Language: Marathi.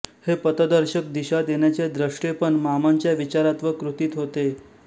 हे पथदर्शक दिशा देण्याचे द्रष्टेपण मामांच्या विचारात व कृतीत होते